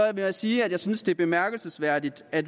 jeg sige at jeg synes det er bemærkelsesværdigt at